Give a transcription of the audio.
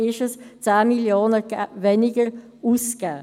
Die Ausgaben werden um 10 Mio. Franken gekürzt.